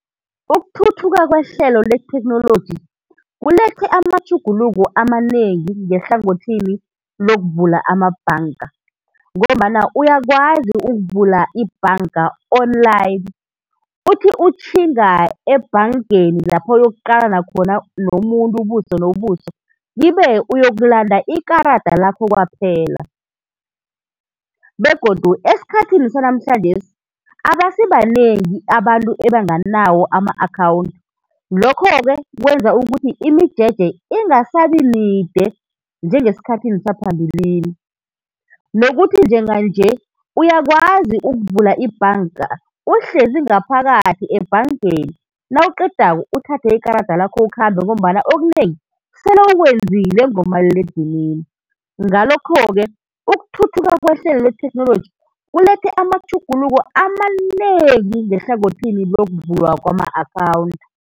Ukuthuthuka kwehlelo letheknoloji kulethe amatjhuguluko amanengi ngehlangothini lokuvulwa amabhanka, ngombana uyakwazi ukuvula ibhanka online, uthi utjhinga ebhankeni lapho oyokuqalana khona nomuntu ubuso nobuso kibe uyokulanda ikarada lakho kwaphela, begodu esikhathini sanjesi abasibanengi abantu abanganawo ama-akhawunthi, lokho-ke kwenza ukuthi imijeje ingasabi mide njengesikhathini saphambilini. Nokuthi njenga-nje uyakwazi ukuvula ibhanka uhleli ngaphakathi ebhankeni, nawuqedako uthathe ikarada lakho ukhambe ngombana okunengi sele ukwenzile ngomaliledinini ngalokho-ke ukuthuthuka kwehlelo letheknoloji kulethe amatjhuguluko amanengi ngehlangothini lokuvulwa kwama-akhawunthi.